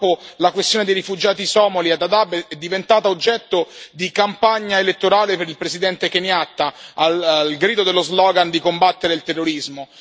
Purtroppo la questione dei rifugiati somali a Dadaab è diventata oggetto di campagna elettorale per il presidente Kenyatta, al grido dello slogan di combattere il terrorismo.